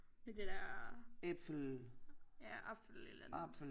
Med det der ja apfel eller